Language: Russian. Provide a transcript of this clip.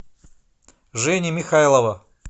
жени михайлова